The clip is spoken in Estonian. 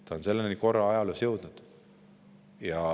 Ta on korra ajaloos juba selleni jõudnud.